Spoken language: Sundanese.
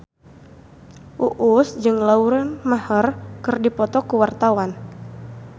Uus jeung Lauren Maher keur dipoto ku wartawan